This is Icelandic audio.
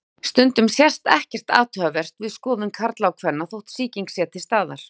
Stundum sést ekkert athugavert við skoðun karla og kvenna þótt sýking sé til staðar.